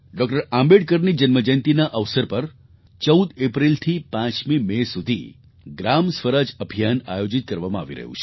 આંબેડકરની જન્મજયંતીના અવસર પર 14 એપ્રિલથી 5મી મે સુધી ગ્રામ સ્વરાજ અભિયાન આયોજિત કરવામાં આવી રહ્યું છે